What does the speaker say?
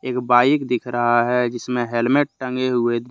एक बाइक दिख रहा है जिसमें हेलमेट टंगे हुए--